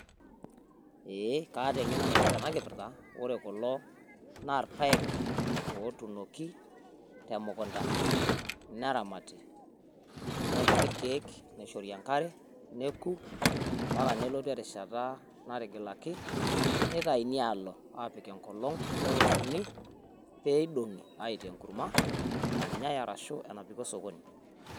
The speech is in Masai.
ee kata engeno naipirta ena kipirta, ore kulo naa ilpaek, otunoki te mukunta, neramati nepiki ilkeek neishori enkare neku mpaka nelotu erishata natigilaki nitayuni aloo apik engolong pee eoshuni pee idongi aitaa enkurma nanyae ashu enapiki osokoni.